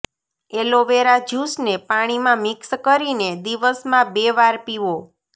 aloe vera જ્યુસને પાણીમાં mix કરીને દિવસમાં બે વાર પીવો